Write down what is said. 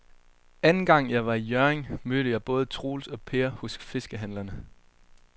Anden gang jeg var i Hjørring, mødte jeg både Troels og Per hos fiskehandlerne.